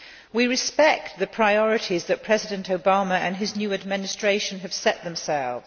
We respect the priorities that President Obama and his new Administration have set themselves.